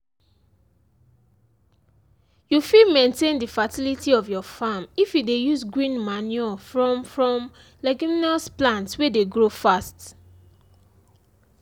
you fit maintain the fertility of your farm if you dey use green manure from from leguminous plants wey dey grow fast